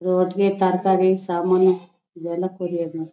Road ಗೆ ತರಕಾರಿ ಸಾಮಾನು ಎಲ್ಲ ಕೊರಿಯರ್ ಮಾಡ್ತಾರೆ.